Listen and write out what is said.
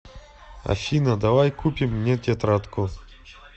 афина давай купим мне тетрадку